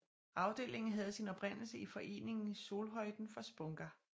Afdelingen havde sin oprindelse i foreningen Solhöjden fra Spånga